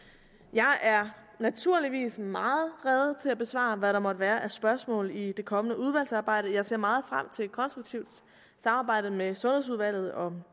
jeg er naturligvis meget rede til at besvare hvad der måtte være af spørgsmål i det kommende udvalgsarbejde jeg ser meget frem til et konstruktivt samarbejde med sundhedsudvalget om